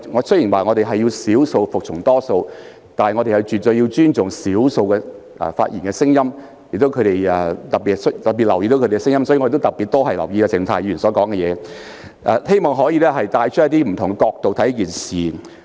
雖然我們強調少數服從多數，但也絕對需要尊重少數聲音，特別留意他們的意見，所以我也會特別留意鄭松泰議員的發言，希望可採用不同角度衡量事情。